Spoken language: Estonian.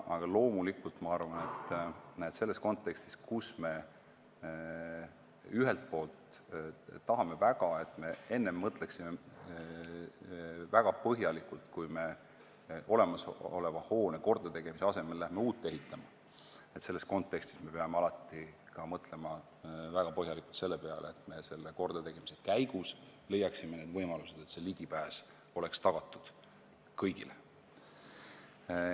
Aga ma loomulikult arvan, et selles kontekstis, kus me ühelt poolt tahame väga, et me enne põhjalikult mõtleksime, kui me olemasoleva hoone kordategemise asemel läheme uut ehitama, me peame alati mõtlema väga põhjalikult selle peale, et me kordategemise käigus leiaksime need võimalused, et ligipääs oleks tagatud kõigile.